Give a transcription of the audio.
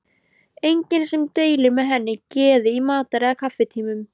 Enginn sem deilir með henni geði í matar- eða kaffitímum.